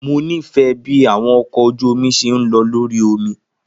Mo nifẹ bi awọn ọkọ oju omi ṣe n lọ lori omi.